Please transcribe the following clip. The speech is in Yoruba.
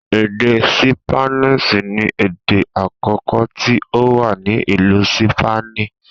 Èdè ṣípánísì ni èdè àkọkọ tí ó wà ní ìlú Sípánì